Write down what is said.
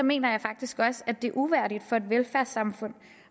mener jeg faktisk også at det er uværdigt for et velfærdssamfund